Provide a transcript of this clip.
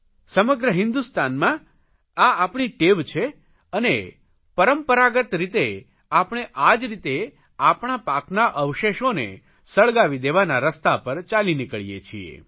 સમગ્ર હિન્દુસ્તાનમાં આ આપણી ટેવ છે અને પરંપરાગત રીતે આપણે આ જ રીતે આપણા પાકના અવશેષોને સળગાવી દેવાના રસ્તા પર ચાલી નીકળીએ છીએ